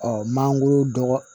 mangoro dɔgɔ